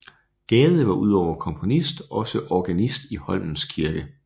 Gade var udover komponist også organist i Holmens Kirke